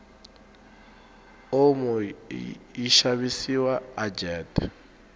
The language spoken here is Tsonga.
omo yishavisiwa ajet